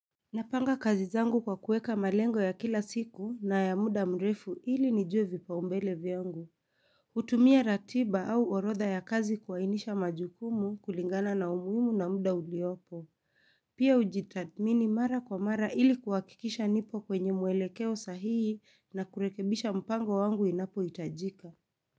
Napanga kazi zangu kwa kuweka malengo ya kila siku na ya muda mrefu ili nijue vipaumbele vyangu. Hutumia ratiba au orodha ya kazi kuwainisha majukumu kulingana na umuhimu na muda uliopo. Pia hujitathimini mara kwa mara ili kuhakikisha nipo kwenye mwelekeo sahihi na kurekebisha mpango wangu inapo hitajika.